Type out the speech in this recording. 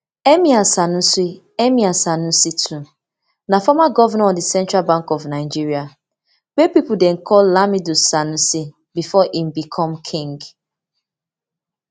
emir sanusi emir sanusi ii na former governor of di central bank of nigeria wey pipo dey call lamido sanusi before e become king